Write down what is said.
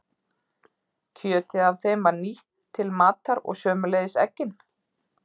Kjötið af þeim var nýtt til matar og sömuleiðis eggin.